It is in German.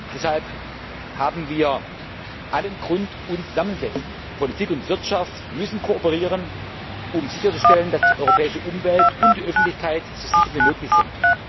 Deshalb haben wir allen Grund, uns zusammensetzen Politik und Wirtschaft müssen kooperieren, um sicherzustellen, dass die europäische Umwelt und die Öffentlichkeit so sicher wie möglich sind.